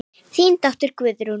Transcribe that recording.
Þín dóttir Guðrún.